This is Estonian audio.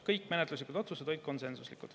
Kõik menetluslikud otsused olid konsensuslikud.